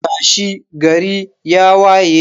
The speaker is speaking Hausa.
tashi, gari ya waye.